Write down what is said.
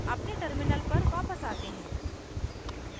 अपने terminal पर वापस आते हैं